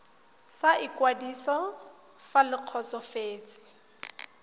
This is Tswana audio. sa ikwadiso fa le kgotsofetse